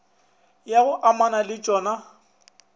ya go amana le tšona